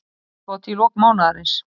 Geimskot í lok mánaðarins